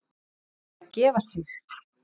Ætli hann sé að gefa sig?